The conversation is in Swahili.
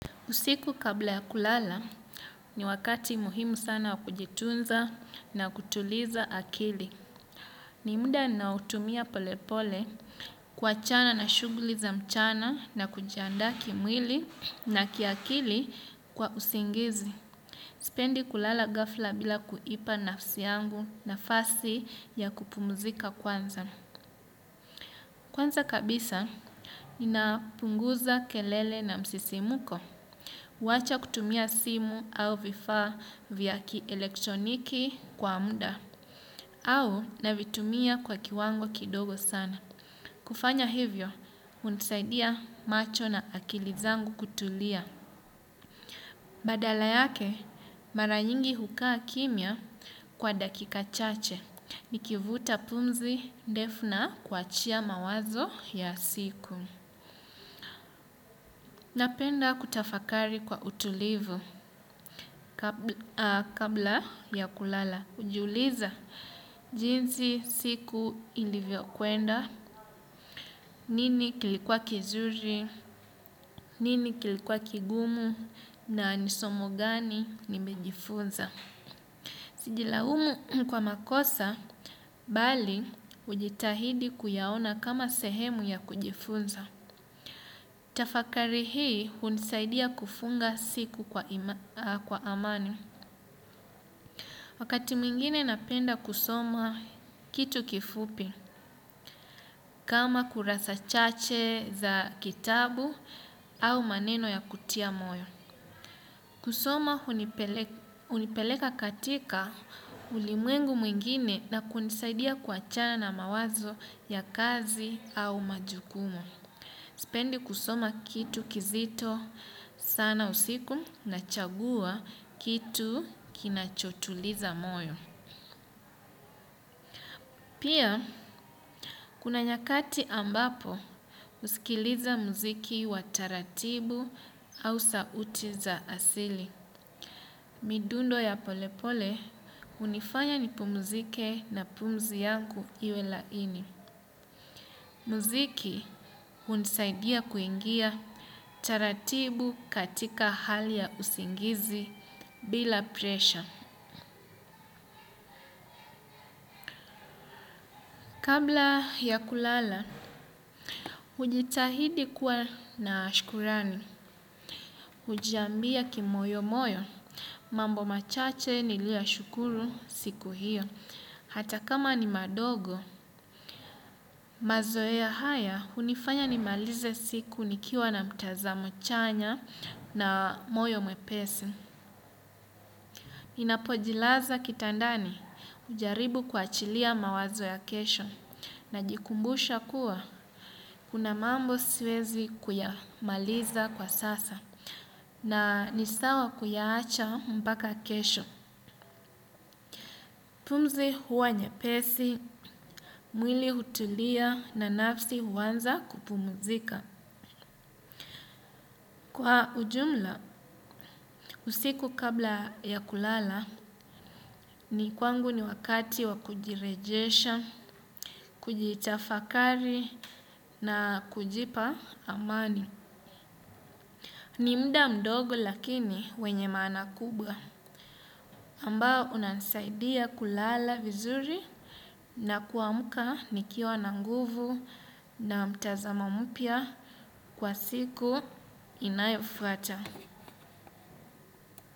Usiku kabla ya kulala ni wakati muhimu sana wa kujitunza na kutuliza akili. Ni muda ninaotumia polepole kuachana na shuguli za mchana na kujandaa kimwili na kiakili kwa usingizi. Sipendi kulala gafla bila kuipa nafsi yangu nafasi ya kupumzika kwanza. Kwanza kabisa ninapunguza kelele na msisimko. Wachakutumia simu au vifaa vya kielektroniki kwa muda. Au navitumia kwa kiwango kidogo sana. Kufanya hivyo, hunisaidia macho na akili zangu kutulia. Badala yake, mara nyingi hukaa kimya kwa dakika chache. Nikivuta pumzi ndefu na kuachia mawazo ya siku. Napenda kutafakari kwa utulivu. Kabla ya kulala, hujiuliza jinsi siku ilivyo kwenda, nini kilikuwa kizuri, nini kilikuwa kigumu, na nisomo gani nimejifunza. Sijilaumu kwa makosa, bali hujitahidi kuyaona kama sehemu ya kujifunza. Tafakari hii hunisaidia kufunga siku kwa amani. Wakati mwingine napenda kusoma kitu kifupi, kama kurasa chache za kitabu au maneno ya kutia moyo. Kusoma hunipeleka katika ulimwengu mwingine na kunisaidia kuachana na mawazo ya kazi au majukumu. Sipendi kusoma kitu kizito sana usiku nachagua kitu kinachotuliza moyo. Pia, kuna nyakati ambapo husikiliza mziki wa taratibu au sauti za asili. Midundo ya polepole, hunifanya nipmuzike na pumzi yangu iwe laini. Mziki, hunisaidia kuingia taratibu katika hali ya usingizi bila presha. Kabla ya kulala, hujitahidi kuwa na shukrani, hujiambia kimoyo moyo, mambo machache niliyoyashukuru siku hiyo. Hata kama ni madogo, mazoea haya, hunifanya nimalize siku nikiwa na mtazamo chanya na moyo mwepesi. Ninapojilaza kitandani hujaribu kuachilia mawazo ya kesho najikumbusha kuwa kuna mambo siwezi kuyamaliza kwa sasa na nisawa kuyaacha mpaka kesho. Pumzi huwa nyepesi, mwili hutulia na nafsi huanza kupumzika. Kwa ujumla, usiku kabla ya kulala ni kwangu ni wakati wa kujirejesha, kujitafakari na kujipa amani. Ni muda mdogo lakini wenye maana kubwa ambao unansaidia kulala vizuri na kuamka nikiwa na nguvu na mtazamo mpya kwa siku inayofuata.